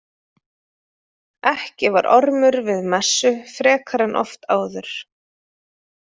Ekki var Ormur við messu frekar en oft áður.